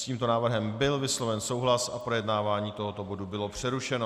S tímto návrhem byl vysloven souhlas a projednávání tohoto bodu bylo přerušeno.